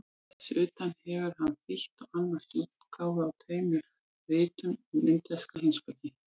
Þess utan hefur hann þýtt og annast útgáfu á tveimur ritum um indverska heimspeki.